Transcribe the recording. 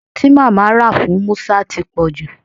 Aso ti mama ra fun Musa ti poju